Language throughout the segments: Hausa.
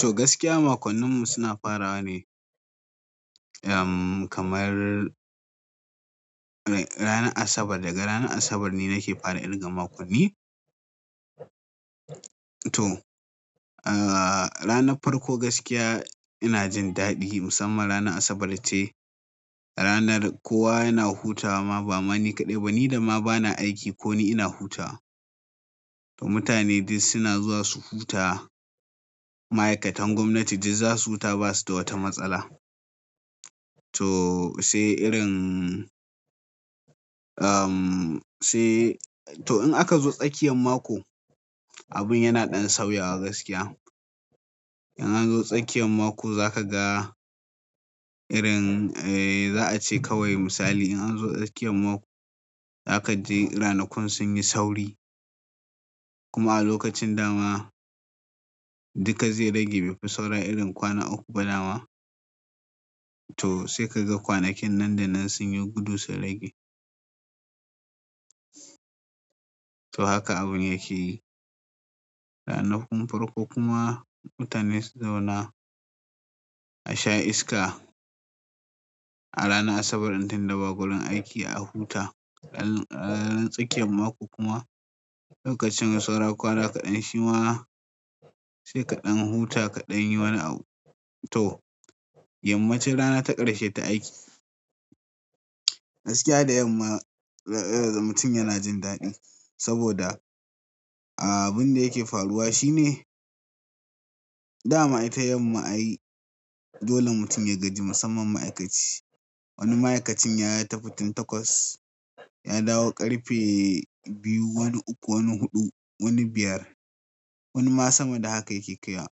To gaskiya makonnin mu suna farawa ne, kamar ranar Asabar. Daga ranar Asabar ne nake fara ƙirga makonni. To, ranar farko gaskiya ina jin daɗi musamman ranar Asabar ce ranar kowa yana hutawa ma ba ma ni kaɗai ba, ni da ma bana aiki ko ni ina hutawa. To mutane dai suna zuwa su huta. Ma'aikatan gwamnati dai za su huta ba su da wata matsala. To sai irin, to in aka zo tsakiyar mako, abin yana ɗan sauya gaskiya. In an zo tsakiyar mako za ka ga irin, za a ce kawai misali in an zo tsakiyar mako, za ka ji ranakun sun yi sauri. Kuma a lokacin dama duka zai rage; bai fi saura irin kwana uku ba dama. To sai ka ga kwanakin nan da nan sun yi gudu sun rage. To haka abin yake yi. Ranakun farko kuma mutane su zauna a sha iska a ranar Asabar tunda ba gurin aiki a huta. Dan ranar tsakiyar mako kuma lokacin saura kwana kaɗan, shi ma sai kaɗan huta, kaɗan yi wani abu. To, yammacin rana ta ƙarshe ta aiki. Gaskiya da yamma mutum yana jin daɗi saboda abin da yake faruwa shine dama ita yamma ayi dole mutum ya gaji musamman ma'aikaci. Wani ma'aikacin ya tafi tun takwas, ya dawo ƙarfe biyu, wani uku, wani huɗu, wani biyar, wani ma sama da haka yake kai.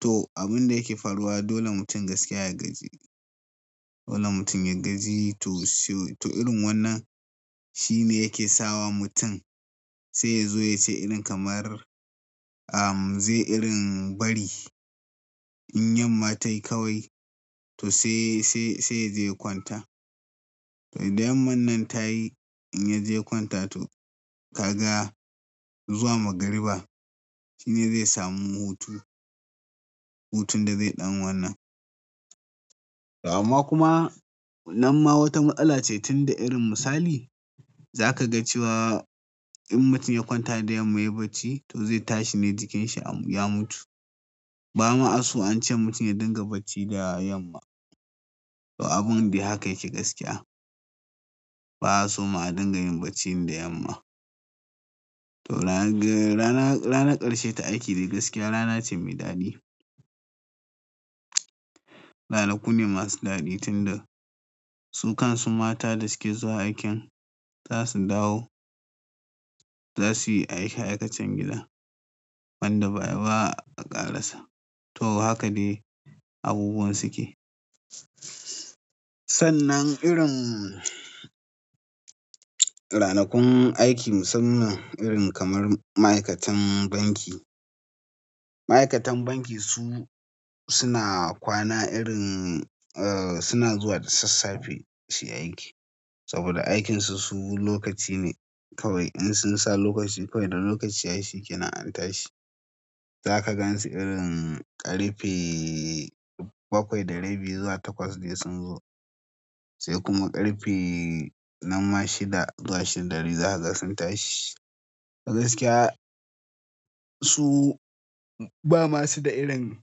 To abin da yake faruwa dole mutum gaskiya ya gaji. Dole mutum ya gaji to sai to irin wannan shine yake sawa mutum sai ya zo ya ci irin kamar, zai irin bari in yamma ta yi kawai to sai, sai ya je ya kwanta. To idan yamma nan ta yi in ya je kwanta to ka ga zuwa magariba shine zai samu hutu. Hutun da zai ɗan wannan. Amma kuma nan ma wata matsala ce tunda irin misali za ka ga cewa in mutum ya kwanta da yamma ya yi bacci to zai tashi ne jikinsa ya mutu. Ba ma a so an ce mutum ya dinga bacci da yamma. To abun dai haka yake gaskiya. Ba a so ma a dinga yin bacci da yamma. Ranar ƙarshe ta aiki dai gaskiya rana ce mai daɗi ranaku ne masu daɗi tunda su kan su mata da suke zuwa aikin za su dawo, za su yi aikace aikacen gida wanda ba, ba a ƙarasa. To haka ne abubuwan suke. Sannan irin ranakun aiki musamman irin kamar ma'aikatan banki. Ma'aikatan banki su suna kwana irin, suna zuwa da sassafe su yi aiki saboda aikinsu su lokaci ne kawai. In sun sa lokaci kawai da lokaci ya shikenan an tashi. Za ka gansu irin ƙarfe bakwai da rabi zuwa takwas dai sun zo. Sai kuma ƙarfe nan ma shida zuwa shida da rabi za ka ga sun tashi. A gaskiya su ba masu da irin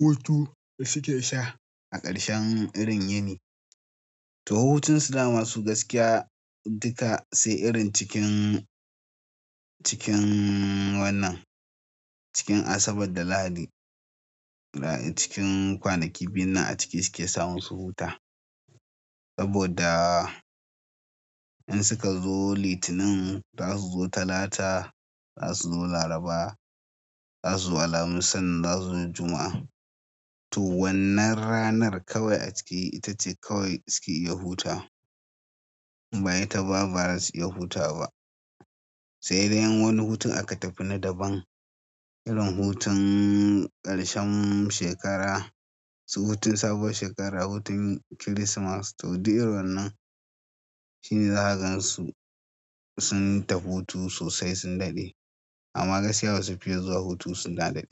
hutu da suke sha a ƙarshen irin yini. To hutun su da masu gaskiya duka sai irin cikin, cikin wannan cikin Asabar da Lahadi cikin kwanaki biyu nan a ciki suke samun su huta. Saboda in suka zo Litinin za su zo Talata, za su zo Laraba, za su zo Alhamis, sannan za su zo Juma'a. To wannan ranar kawai a ciki ita ce kawai suke iya huta. Bayan ita ba, bara su iya huta ba. Sai dai wani hutun aka tafi na daban irin hutun ƙarshen shekara su hutun sabuwar shekara, hutun Kirismas to duk irin wannan shine za ka gansu sun tafi hutu sosai sun daɗe amma gaskiya basu fiye zuwa hutu suna daɗe.